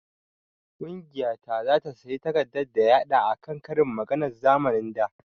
Ƙungiya ta zata sayi takardar daya haɗa akan ƙarin maganan zamanin da